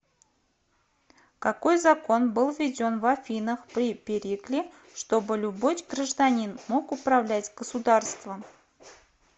какой закон был введен в афинах при перикле чтобы любой гражданин мог управлять государством